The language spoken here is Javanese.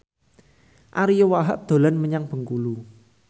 Ariyo Wahab dolan menyang Bengkulu